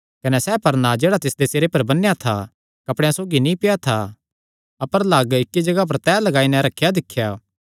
कने सैह़ परना जेह्ड़ा तिसदे सिरे पर बन्नेया था कपड़ेयां सौगी नीं पेआ था अपर लग्ग इक्की जगाह पर तैह लगाई नैं रखेया दिख्या